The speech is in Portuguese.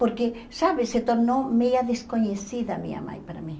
Porque, sabe, se tornou meia desconhecida minha mãe para mim.